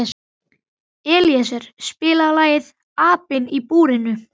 Elíeser, spilaðu lagið „Apinn í búrinu“.